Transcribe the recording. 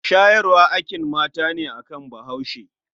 Shayarwa akin mata ne a gun bahuashe.